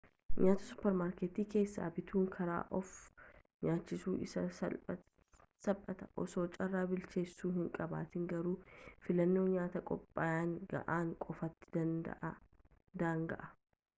nyaata supermaarkeetii keessaa bituun karaa of nyaachisuu isa saphaati osoo carraa bilcheessu hin qabaatin garuu filannon nyaata qophaa'anii ga'aan qofaatti daanga'a